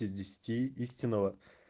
из десяти истинного